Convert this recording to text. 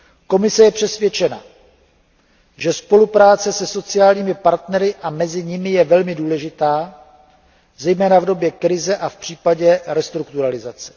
Komise je přesvědčena, že spolupráce se sociálními partnery a mezi nimi je velmi důležitá, zejména v době krize a v případě restrukturalizace.